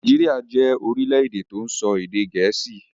Nàìjíríà jẹ orílẹ̀-èdè tó ń sọ èdè Gẹẹsi